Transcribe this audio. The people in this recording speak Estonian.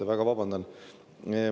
Ma väga vabandan.